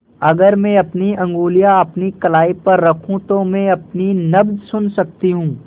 अगर मैं अपनी उंगलियाँ अपनी कलाई पर रखूँ तो मैं अपनी नब्ज़ सुन सकती हूँ